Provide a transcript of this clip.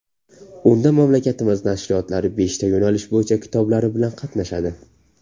Unda mamlakatimiz nashriyotlari beshta yo‘nalish bo‘yicha kitoblari bilan qatnashadi.